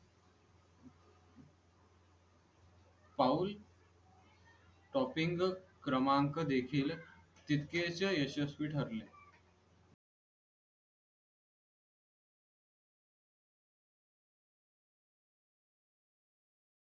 पाऊल टॉपिंग क्रमांक देखील तितकेच यशस्वी ठरले